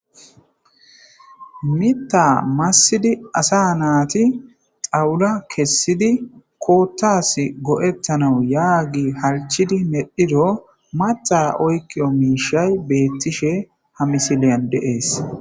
Miththa masid asa nat xawula kesid koththas goetanasi halichchid medhido maththa oyikiyo mishshay ha misiliya dees